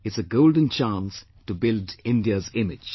It's a golden chance to build India's image